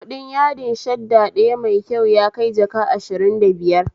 Kuɗin yadin shadda ɗaya mai kyau yakai jaka ashirin da biiyar